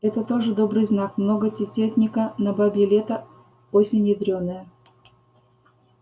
это тоже добрый знак много тенётника на бабье лето осень ядрёная